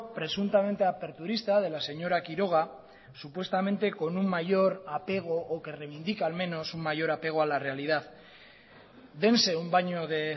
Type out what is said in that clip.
presuntamente aperturista de la señora quiroga supuestamente con un mayor apego o que reivindica al menos un mayor apego a la realidad dense un baño de